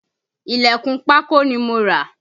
Ilẹ̀kùn pákó ni mo rà